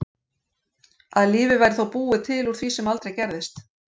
Að lífið væri þá búið til úr því sem aldrei gerðist.